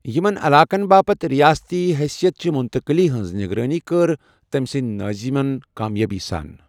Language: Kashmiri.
یِمَن علاقَن باپتھ ریٲستی حیثیتٕ چہِ مٗنتقلی ہٕنٛز نگرٲنی کٔر تٔمہِ سٕندِ نٲضِمن کامیٲبی سان ۔